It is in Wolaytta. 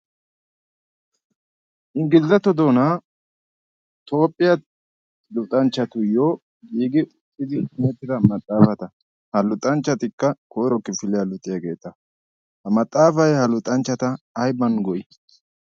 inggilizato doonaa toophphiyaa luuxanchchatuyyo hiigi uxxidi nettida maxaafata ha luxanchchatikka koiro kifiliyaa luuxiaageeta ha maxaafay ha luxanchchata ayban go